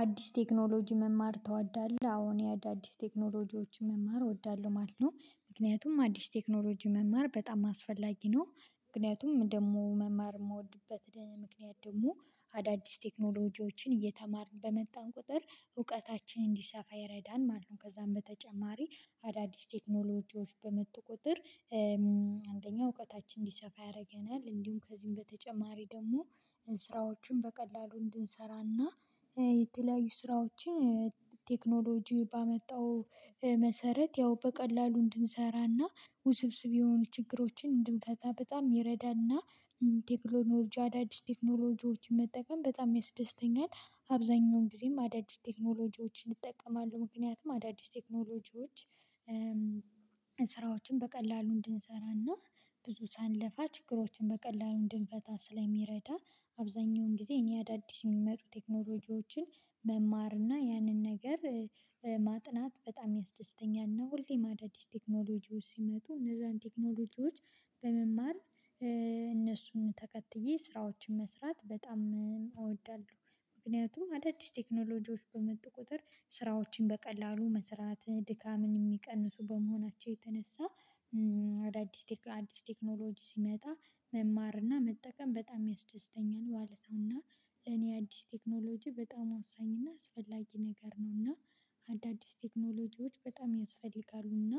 አዲስ ቴክኖሎጂ መማር ትወዳለህ? አሁን የአዳዲስ ቴክኖሎጂዎችን መማር እወዳለሁ ማለት ነው ምክንያቱም አዲስ ቴክኖሎጂ መማር በጣም አስፈላጊ ነው ምክንያቱም ደግሞ መማር የምወድበት ምክንያት ደግሞ አዳዲስ ቴክኖሎጂዎችን እየተማርን በመጣን ቁጥር እውቀታችንን እንዲሰፋ ይረዳል ማለት ነው ከዛም በተጨማሪ አዳዲስ ቴክኖሎጂዎች በመተቆጠር አንደኛ እውቀታችን እንዲሰፋ ያደርገናል እንዲሁም ከዚህም በተጨማሪ ደግሞ ስራዎችን በቀላሉ እንድንሰራና የተለያዩ ስራዎችን ቴክኖሎጂው ባመጣው መሰረት ያው በቀላሉ እንድንሰራና ውስብስብ የሆኑ ችግሮችን በጣም ይረዳና። ቴክኖሎጂ አዳዲስ ቴክኖሎጂዎችን መጠቀም በጣም ያስደስተኛል አብዛኛውን ጊዜም አዳዲስ ቴክኖሎጂዎችን እጠቀማለሁ ምክንያቱም አዳዲስ ቴክኖሎጂዎች ስራዎችን በቀላሉ እንድንሰራና ብዙ ሳንለፋ ችግሮችን በቀላሉ እንድንፈታ ስለሚረዳ አብዛኛውን ጊዜ እኔ አዳዲስ የሚመጡ ቴክኖሎጂዎችን መማር እና ያንን ነገር ማጥናት በጣም ያስደስተኛል ነው ሁሌም ማዳዲስ ቴክኖሎጂዎች ሲመጡ እነዛን ቴክኖሎጂዎች በመማር እነሱን ተከትዬ ስራዎችን መስራት በጣም እወዳለሁ ምክንያቱም አዳዲስ ቴክኖሎጂዎች በመጡ ቁጥር ስራዎችን በቀላሉ መስራት ድካምን የሚቀንሱ በመሆናቸው የተነሳ አዳዲስ አዲስ ቴክኖሎጂ ሲመጣ መማርና መጠቀም በጣም ያስደስተኛል ማለት ነው እና ለኔ አዲስ ቴክኖሎጂ በጣም አወሳኝና አስፈላጊ ነገር ነው እና አዳዲስ ቴክኖሎጂዎች በጣም ያስፈልጋሉ እና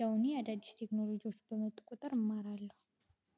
ያው እኔ አዳዲስ ቴክኖሎጂዎች በመጥቆጠር እማራለሁ።